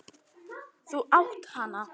Þú átt hana!